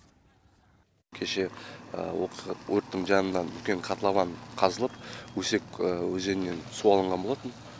кеше өрттің жанынан үлкен котлован қазылып өсек өзенінен су алынған болатын